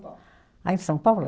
Ah, em São Paulo?